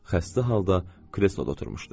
Xəstə halda kresloda oturmuşdu.